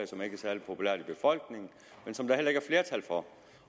som ikke er særlig populært i befolkningen